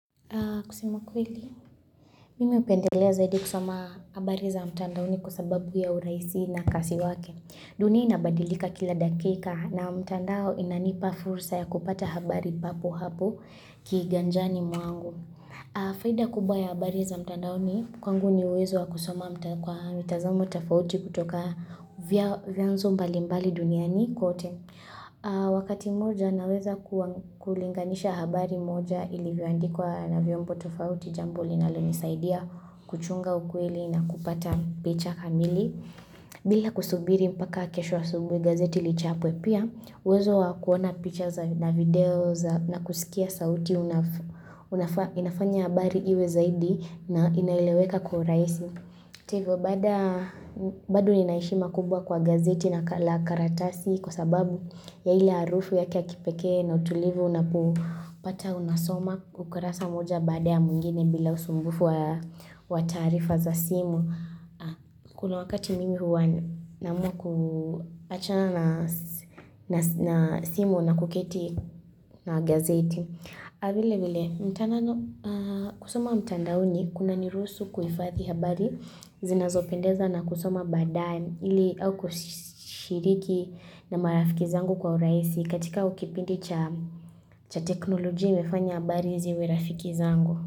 Kusemu kweli, mimi hupendelea zaidi kusoma habari za mtandaoni kwa sababu ya urahisi na kasi wake. Dunia inabadilika kila dakika na mtandao inanipa fursa ya kupata habari papo hapo kiganjani mwangu. Faida kubwa ya habari za mtandaoni, kwangu ni uwezo wa kusoma mtandaoni kwa mitazamo tafauti kutoka vyanzo mbalimbali duniani kote. Wakati mmoja naweza kulinganisha habari moja ilivyoandikwa na vyombo tofauti jambo linalonisaidia kuchunga ukweli na kupata picha kamili bila kusubiri mpaka kesho asubuhi gazeti lichapwe pia uwezo wa kuona picha na video na kusikia sauti inafanya habari iwe zaidi na inaeleweka kwa urahisi.hata hiivyo, baada bado nina heshima kubwa kwa gazeti na karatasi kwa sababu ya ile harufu yake ya kipeke na utulivu unapo pata unasoma ukurasa moja baada ya mwngine bila usumbufu wa tarifa za simu. Kuna wakati mimi huwa naamuwa kuachana na simu na kuketi na gazeti. Vile vile, mtana kusoma mtandaoni kunaniruhusu kuifadhi habari zinazopendeza na kusoma baadaye ili au kushiriki na marafiki zangu kwa urahisi katika au kipindi cha cha teknoloji imefanya habari ziwe rafiki zangu.